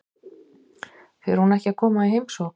Fer hún ekki að koma í heimsókn?